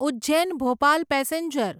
Ujjain Bhopal passenger